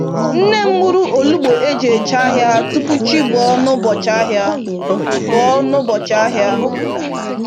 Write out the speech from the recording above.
Nne m gburu olugbu oji eje ahịa tupu chi bọọ n'ụbọchị ahịa. bọọ n'ụbọchị ahịa.